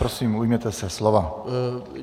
Prosím, ujměte se slova.